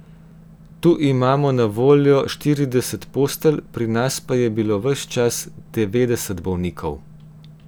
Tu imamo na voljo štirideset postelj, pri nas pa je bilo ves čas devetdeset bolnikov.